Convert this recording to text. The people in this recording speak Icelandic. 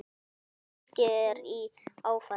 Fólkið er í áfalli.